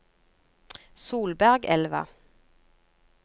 Solbergelva